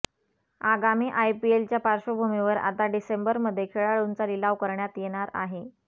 आगामी आयपीएल च्या पार्श्वभूमीवर आता डिसेंबरमध्ये खेळाडूंचा लिलाव करण्यात येणार आहे